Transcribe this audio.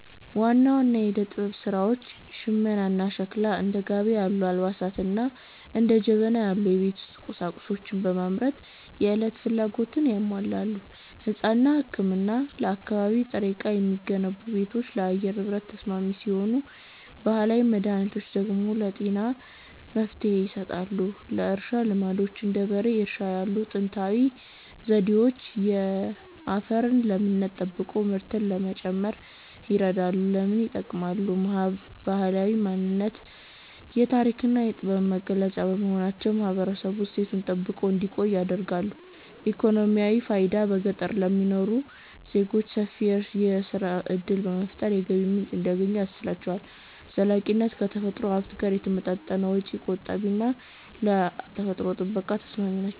ዋና ዋና የዕደ-ጥበብ ሥራዎች ሽመናና ሸክላ፦ እንደ ጋቢ ያሉ አልባሳትንና እንደ ጀበና ያሉ የቤት ውስጥ ቁሳቁሶችን በማምረት የዕለት ፍላጎትን ያሟላሉ። ሕንጻና ሕክምና፦ ከአካባቢ ጥሬ ዕቃ የሚገነቡ ቤቶች ለአየር ንብረት ተስማሚ ሲሆኑ፣ ባህላዊ መድኃኒቶች ደግሞ ለጤና መፍትሔ ይሰጣሉ። የእርሻ ልማዶች፦ እንደ በሬ እርሻ ያሉ ጥንታዊ ዘዴዎች የአፈርን ለምነት ጠብቆ ምርትን ለመጨመር ይረዳሉ። ለምን ይጠቅማሉ? ባህላዊ ማንነት፦ የታሪክና የጥበብ መገለጫ በመሆናቸው ማህበረሰቡ እሴቱን ጠብቆ እንዲቆይ ያደርጋሉ። ኢኮኖሚያዊ ፋይዳ፦ በገጠር ለሚኖሩ ዜጎች ሰፊ የሥራ ዕድል በመፍጠር የገቢ ምንጭ እንዲያገኙ ያስችላቸዋል። ዘላቂነት፦ ከተፈጥሮ ሀብት ጋር የተጣጣሙ በመሆናቸው ወጪ ቆጣቢና ለአካባቢ ጥበቃ ተስማሚ ናቸው።